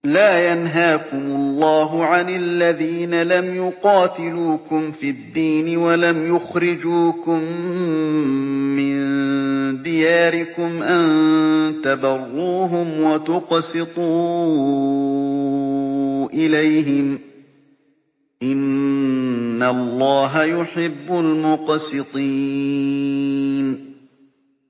لَّا يَنْهَاكُمُ اللَّهُ عَنِ الَّذِينَ لَمْ يُقَاتِلُوكُمْ فِي الدِّينِ وَلَمْ يُخْرِجُوكُم مِّن دِيَارِكُمْ أَن تَبَرُّوهُمْ وَتُقْسِطُوا إِلَيْهِمْ ۚ إِنَّ اللَّهَ يُحِبُّ الْمُقْسِطِينَ